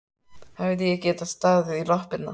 Hefði ég getað staðið í lappirnar?